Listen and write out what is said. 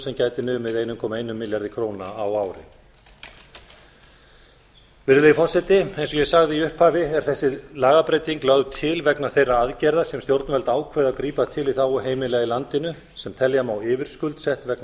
sem gæti kæmi eitt komma einum milljarði króna á ári virðulegi forseti eins og ég sagði í upphafi er þessi lagabreyting lögð til vegna þeirra aðgerða sem stjórnvöld ákveða að grípa til í þágu heimila í landinu sem telja má yfirskuldsett vegna